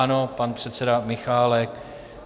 Ano, pan předseda Michálek.